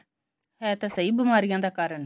ਹੈ ਤਾਂ ਸਹੀ ਬੀਮਾਰੀਆ ਦਾ ਕਾਰਨ